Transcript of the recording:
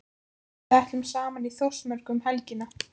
Við ætlum saman í Þórsmörk um helgina.